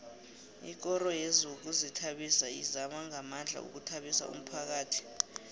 ikoro yezokuzithabisa izama ngamandla ukuthabisa umphakhathi